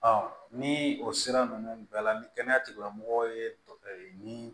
ni o sira ninnu bɛɛ la ni kɛnɛya tigilamɔgɔw ye nin